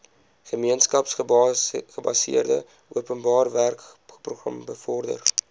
gemeenskapsgebaseerde openbarewerkeprogram bevorder